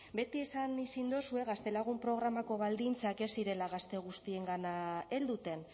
beti esan izan dozue gaztelagun programako baldintzak ez zirela gazte guztiengana helduten